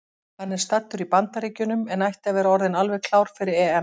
Hann er staddur í Bandaríkjunum en ætti að vera orðinn alveg klár fyrir EM.